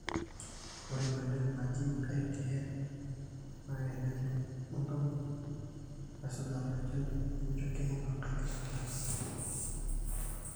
ore ina net naji ITN naa eneet enkampuni naisuja tolchani nemeitoki ayie enkai kisujata